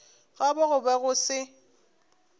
gabo go be go se